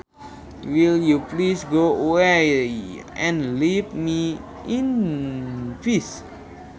Will you please go away and leave me in peace